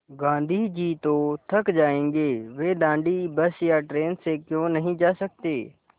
गाँधी जी तो थक जायेंगे वे दाँडी बस या ट्रेन से क्यों नहीं जा सकते